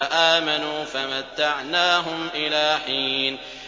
فَآمَنُوا فَمَتَّعْنَاهُمْ إِلَىٰ حِينٍ